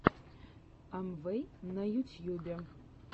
амвэй на ютьюбе